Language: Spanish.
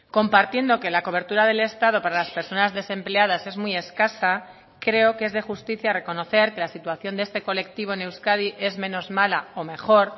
compartiendo que la cobertura del estado para las personas desempleadas es muy escasa creo que es de justicia reconocer que la situación de este colectivo en euskadi es menos mala o mejor